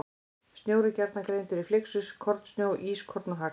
Snjór er gjarnan greindur í flyksur, kornsnjó, ískorn og hagl.